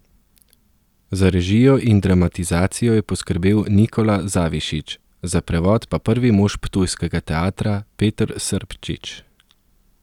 Za režijo in dramatizacijo je poskrbel Nikola Zavišić, za prevod pa prvi mož ptujskega teatra Peter Srpčič.